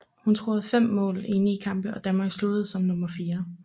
Hun scorede fem mål i ni kampe og Danmark sluttede som nummer 4